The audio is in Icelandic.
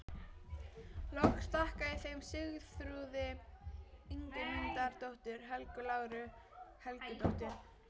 Loks þakka ég þeim Sigþrúði Ingimundardóttur, Helgu Láru Helgadóttur